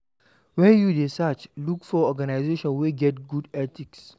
When you dey search, look for organization wey get good ethics